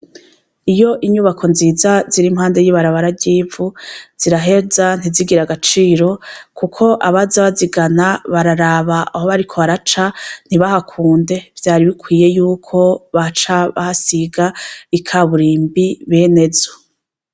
Iyo inyubako nziza ziri impande y'ibarabararyivu ziraheza ntizigira agaciro, kuko abazi bazigana bararaba aho bariko baraca ntibahakunde vyari bikwiye yuko baca basiga ikaburimbi bene zo.